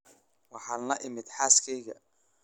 Waxaan la imid xaaskayga